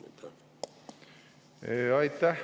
Aitäh!